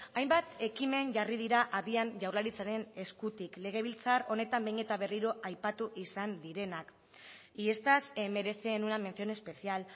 hainbat ekimen jarri dira abian jaurlaritzaren eskutik legebiltzar honetan behin eta berriro aipatu izan direnak y estas merecen una mención especial